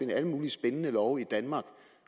alle mulige spændende love i danmark